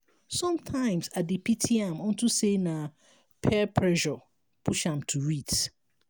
sometimes i dey pity am unto say na peer pressure push am to it